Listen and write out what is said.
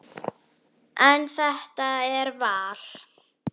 En þetta er val.